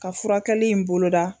Ka furakɛli in boloda.